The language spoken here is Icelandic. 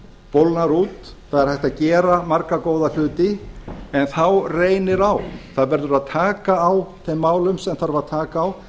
bólgnar út það er hægt að gera marga góða hluti en þá reynir á það verður að taka á þeim málum sem þarf að taka á